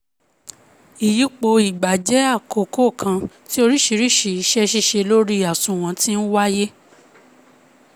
ìyípo ìgbà jẹ́ àkókò kan tí oríṣiríṣi ise sise lori àsùnwòn ti ńwáyé